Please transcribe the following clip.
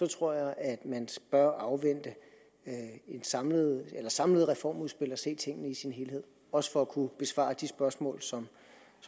tror jeg at man bør afvente et samlet samlet reformudspil og se tingene i sin helhed også for at kunne besvare de spørgsmål som